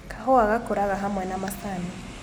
Kahũa gakũraga hamwe na macani